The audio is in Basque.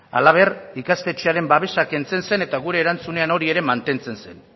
halaber ikastetxearen babesak kentzen zen eta gure erantzunen hori ere mantentzen zen